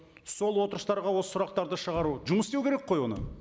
сол отырыстарға осы сұрақтарды шығару жұмыс істеу керек қой оны